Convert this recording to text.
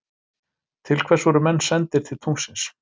Til hvers voru menn sendir til tunglsins?